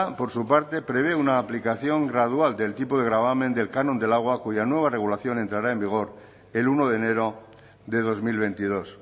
por su parte prevé una aplicación gradual del tipo de gravamen del canon del agua cuya nueva regulación entrará en vigor el uno de enero de dos mil veintidós